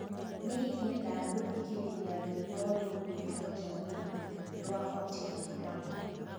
nīingīenda gūthikīrīria rwīmbo rūgwītwo Jamila rwa otile brown